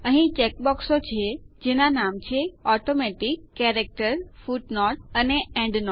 અહીં ચેકબોક્સો છે જેના નામ છે ઓટોમેટિક કેરેક્ટર ફુટનોટ અને એન્ડનોટ